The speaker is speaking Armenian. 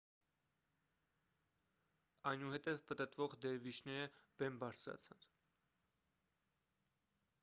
այնուհետև պտտվող դերվիշները բեմ բարձրացան